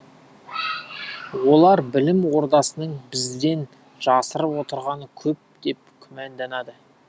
олар білім ордасының бізден жасырып отырғаны көп деп күмәнданады